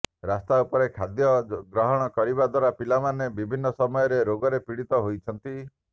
ରାସ୍ତା ଉପରେ ଖାଦ୍ୟ ଗ୍ରହଣ କରିବା ଦ୍ୱାରା ପିଲାମାନେ ବିଭିନ୍ନ ସମୟରେ ରୋଗରେ ପୀଡିତ ହେଉଛନ୍ତି